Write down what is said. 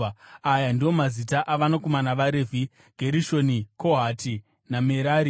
Aya ndiwo mazita avanakomana vaRevhi: Gerishoni, Kohati naMerari.